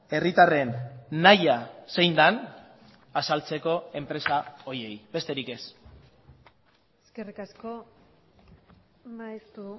herritarren nahia zein den azaltzeko enpresa horiei besterik ez eskerrik asko maeztu